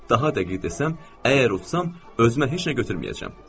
Daha dəqiq desəm, əgər utsam, özümə heç nə götürməyəcəm.